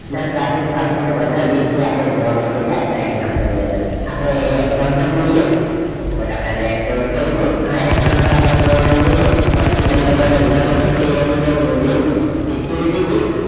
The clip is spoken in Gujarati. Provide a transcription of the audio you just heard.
ના ક્લાસસીસ વાપરી ને બનાવી એ અપડે જોવા માંગીએ છે આજ ના example ની અંદર અપડે એ example જોઇયે અને અપડે એને note કરીસું આ example અપડે જોવા માંગીએ છે forty one નંબર નો example છે creating and using security with